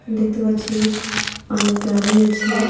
দেখতে পাচ্ছি অনেক গাড়ি আছে.